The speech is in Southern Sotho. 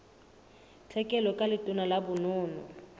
tlhekelo ka letona la bonono